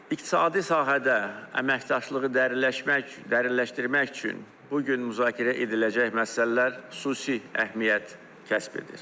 İqtisadi sahədə əməkdaşlığı dərinləşmək, dərinləşdirmək üçün bu gün müzakirə ediləcək məsələlər xüsusi əhəmiyyət kəsb edir.